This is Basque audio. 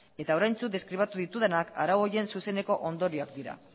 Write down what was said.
eta oraintsu deskribatu ditudanak arau horien zuzeneko ondorioak dira